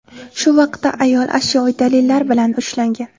Shu vaqtda ayol ashyoviy dalillar bilan ushlangan.